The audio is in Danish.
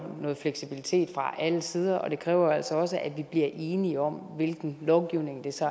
noget fleksibilitet fra alle sider og det kræver jo altså også at vi bliver enige om hvilken lovgivning der så